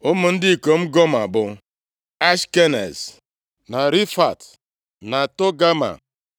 Ụmụ ndị ikom Goma bụ Ashkenaz, na Rifat, na Togama.